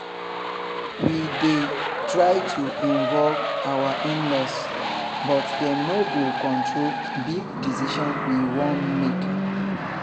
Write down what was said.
we dey try to involve our in-laws but dem no go control big decision we wan make